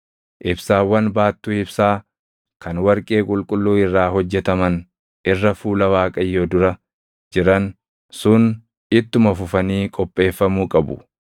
Ibsaawwan baattuu ibsaa kan warqee qulqulluu irraa hojjetaman irra fuula Waaqayyoo dura jiran sun ittuma fufanii qopheeffamuu qabu.